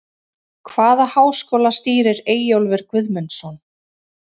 Hvaða háskóla stýrir Eyjólfur Guðmundsson?